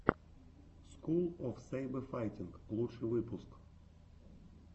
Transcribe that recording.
скул оф сэйбэфайтинг лучший выпуск